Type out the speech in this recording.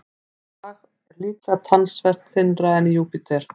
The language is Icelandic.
Þetta lag er líklega talsvert þynnra en í Júpíter.